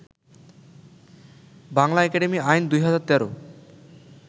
Bangla academy আইন ২০১৩